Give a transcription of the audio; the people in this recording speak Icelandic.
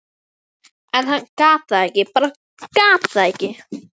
en hann gat það ekki, bara gat það ekki.